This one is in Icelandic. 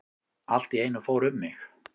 Allt í einu fór um mig.